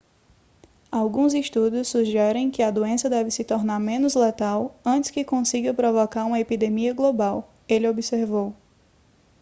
alguns estudos sugerem que a doença deve se tornar menos letal antes que consiga provocar uma epidemia global ele observou